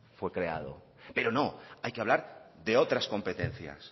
fue creado pero no hay que hablar de otras competencias